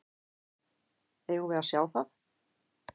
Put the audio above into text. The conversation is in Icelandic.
Eigum við að sjá það?